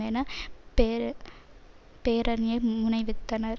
என்ற பே பேரணையை முனைவித்தனர்